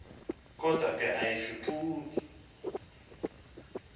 kodwa ke ayishukuxi